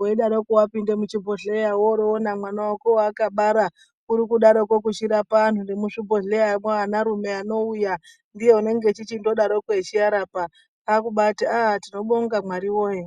weidaroko wapinda muchibhehleya wonoona mwana wako wawakabara urikurapa antu nemuzvibhehleyamwo ana rume anouya ndiye anodaroko achirapa takudaroko tichiti tinobonga Mwari woye.